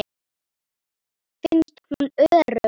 Finnst hún örugg.